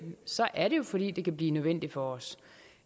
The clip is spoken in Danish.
er det jo fordi det kan blive nødvendigt for os